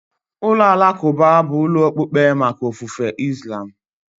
Ụlọ alakụba bụ ụlọ okpukpe maka ofufe Islam.